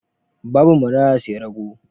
Babu maraya sai rago?